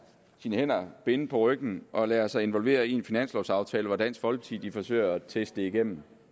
sine hænder binde på ryggen og lader sig involvere i en finanslovaftale hvor dansk folkeparti forsøger at teste det igennem